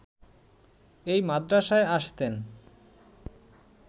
এই মাদ্রাসায় আসতেন